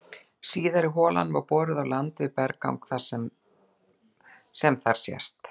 Síðari holan var boruð á landi við berggang sem þar sést.